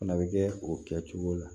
Fana bɛ kɛ o kɛcogo la